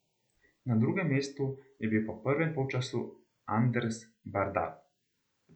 Na drugem mestu je bil po prvem polčasu Anders Bardal.